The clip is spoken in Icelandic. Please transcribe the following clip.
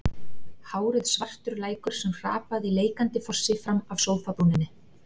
Hárið svartur lækur sem hrapaði í leikandi fossi fram af sófabrúninni.